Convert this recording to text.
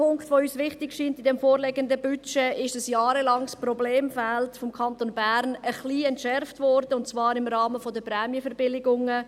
Ein zweiter Punkt, der uns im vorliegenden Budget wichtig erscheint, ist, dass ein jahrelanges Problemfeld des Kantons Bern ein wenig entschärft wurde, und zwar im Rahmen der Prämienverbilligungen.